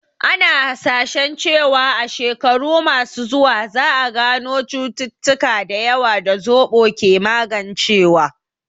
Ana hasashen cewa a shekaru masu zuwa, za a gano cututtuka da yawa da zoɓo ke magancewa